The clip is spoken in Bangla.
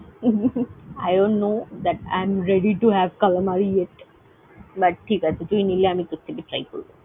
I don't know that I am ready to have Calamari yet, but ঠিক আছে তুই নিলে আমি তোর থেকে try করবো।